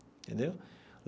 Entendeu?